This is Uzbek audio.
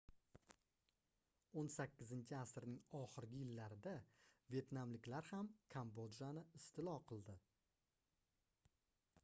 18-asrning oxirgi yillarida vetnamliklar ham kambodjani istilo qildi